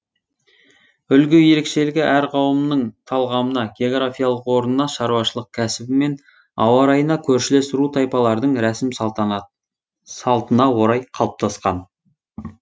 үлгі ерекшелігі әр қауымның талғамына географиялық орнына шаруашылық кәсібі мен ауа райына көршілес ру тайпалардың рәсім салтына орай қалыптасқан